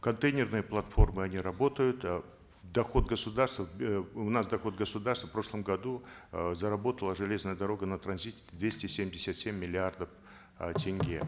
контейнерные платформы они работают э в доход государства э у нас доход государства в прошлом году э заработала железная дорога на транзите двести семьдесят семь миллиардов э тенге